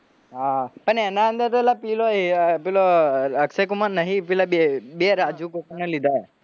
હા પણ એના અંદર તો પેલો પેલો અક્ષય કુમાર નહી બે રાજુ કોકને લીધા હે